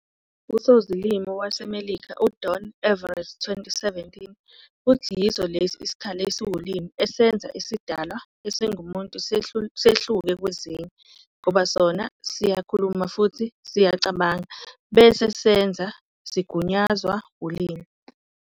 Usozilimi wase Melika u Don Evrett, 2017, uthi yiso lesi sikhali esiwulimi esenza isidalwa esingumuntu sehluke kwezinye ngoba sona siyakhuluma futhi siyacabanga bese senza, sigunyazwa ulimi.